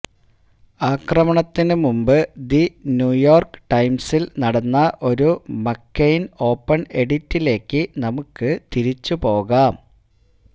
ആക്രമണത്തിനു മുൻപ് the New York ടൈംസിൽ നടന്ന ഒരു മക്കെയ്ൻ ഓപ്പൺ എഡിറ്റിലേക്ക് നമുക്ക് തിരിച്ചുപോകാം